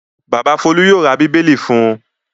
Bàbá Folú yóò ra Bíbélì fún un.